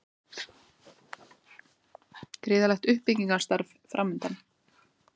Gríðarlegt uppbyggingarstarf framundan